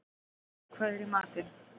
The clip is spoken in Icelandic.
Harrý, hvað er í matinn?